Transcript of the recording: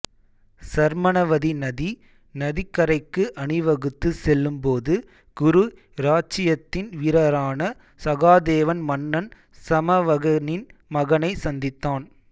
சர்மணவதி நதி நதிக்கரைக்கு அணிவகுத்து செல்லும் போது குரு இராச்சியத்தின் வீரரான சகாதேவன் மன்னன் சமவகனின் மகனை சந்தித்தான்